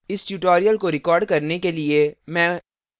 इस tutorial को record करने के लिए मैं